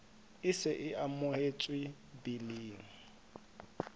e se e amohetswe biling